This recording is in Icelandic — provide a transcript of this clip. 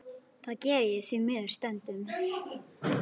Það geri ég því miður stundum.